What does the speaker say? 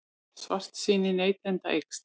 Svartsýni neytenda eykst